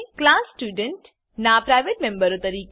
class student નાં private મેમ્બરો તરીકે